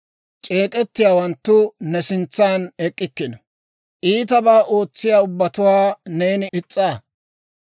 C'eek'ettiyaawanttu ne sintsan ek'k'ikkino; iitabaa ootsiyaa ubbatuwaa neeni is's'aa.